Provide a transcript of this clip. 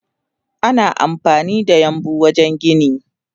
Ana amfanida yambu wajen gini.